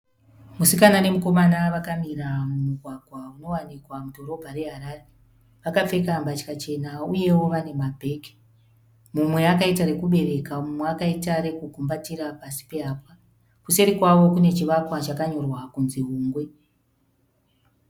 Musikana nemukomana vakamira mumugwagwa unowanikwa mudhorobha reHarare. Vakapfeka mbatya chena uyewo vane mabheki. Mumwe akaita rekubereka mumwe akaita rekugumbatira pasi pehapwa. Kuseri kwavo kune chivakwa chakanyorwa kuti Hungwe.